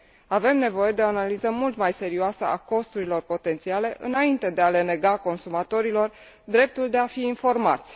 Avem nevoie de o analiză mult mai serioasă a costurilor potențiale înainte de a le nega consumatorilor dreptul de a fi informați.